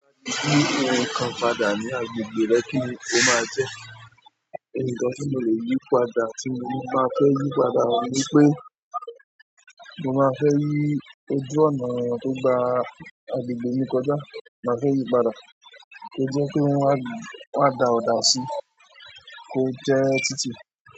Yi nǹkan padà ní agbègbè rẹ kíni o má jẹ́? Nǹkan tí mo lè yí padà tí mo bá fẹ́ yí padà oun ní pé mo máa fẹ́ yí ojú ọ̀nà tó gba agbègbè yìí kọjá máa fẹ́ yí padà kí ó jẹ́ pé wọ́n a dá ọ̀dà si kó jẹ́ tìtì.